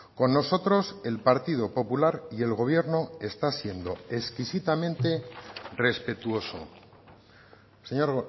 con nosotros el partido popular y el gobierno está siendo exquisitamente respetuoso señor